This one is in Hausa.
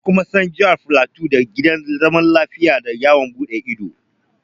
An kuma san Jihar Filato da Gidan Zaman Lafiya da yawon buɗe ido